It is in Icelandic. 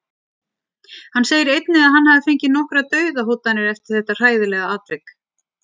Hann segir einnig að hann hafi fengið nokkrar Dauðahótanir eftir þetta hræðilega atvik.